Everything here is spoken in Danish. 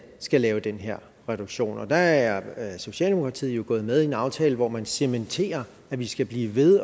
skal lave den her reduktion der er socialdemokratiet jo gået med i en aftale hvor man cementerer at vi skal blive ved